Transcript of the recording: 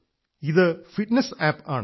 ഇത് fitness app ആണ്